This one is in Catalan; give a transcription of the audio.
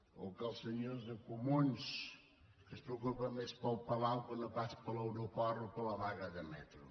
o que els senyors de comuns que es preocupen més pel palau que no pas per l’aeroport o per la vaga de metro